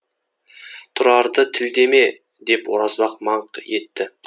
тұрарды тілдеме деп оразбақ маңқ етті